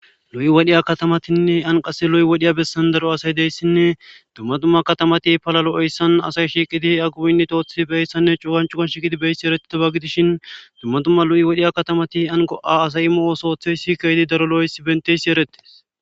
lu7i wadhiya katamatinne anqase lu7i wodhiya bessan daro asay deyssinne dumma dumma katamati palalo7eyssan asay shiiqidi aguwinnitoothi beyssanne cuugan cuga shiqidi beyssi eretete ba gidishin dumma dumma lu7i wodhiya katamati an go7a asay immo osooththey shi kaydi daro lo7oysi benteysi eretes